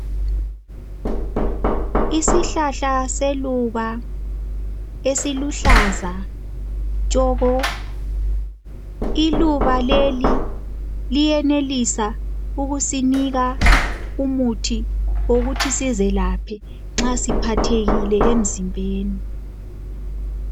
Isihlahla seluba ,esiluhlaza tshoko. Iluba leli liyenelisa ukusinika umuthi wokuthi sizelaphe nxa siphathekile emzimbeni.